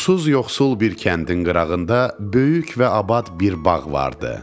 Susuz yoxsul bir kəndin qırağında böyük və abad bir bağ vardı.